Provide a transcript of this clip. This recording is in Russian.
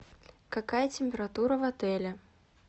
какая температура в отеле